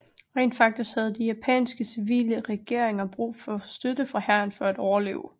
Rent faktisk havde de japanske civile regeringer brug for støtte fra hæren for at overleve